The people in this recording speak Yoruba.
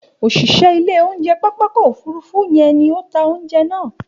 Òṣìṣẹ́ ilé oúnjẹ pápákọ̀ òfurufú yẹn ni ó ta ounjẹ náà